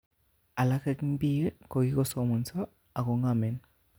Alak eng biik kokikosomoso ako ngomen.